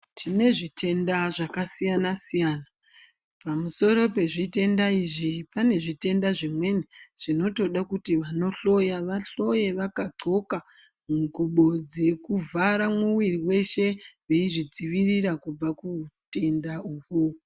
Tine zvitenda zvakasiyana siyana pamusoro pezvitenda izvi pane zvitenda zvinweni zvinotode kuti vanohloya vahloye vakadxoka ngubo dzekuvhara muwiri weshe veizvidzivirira kuutenga uhwo.